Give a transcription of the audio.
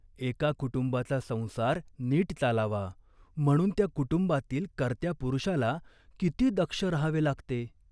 एका कुटुंबाचा संसार नीट चालावा म्हणून त्या कुटुंबातील कर्त्या पुरुषाला किती दक्ष राहावे लागते.